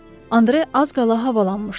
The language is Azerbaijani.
Andre az qala havalanmışdı.